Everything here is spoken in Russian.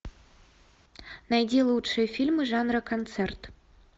найди лучшие фильмы жанра концерт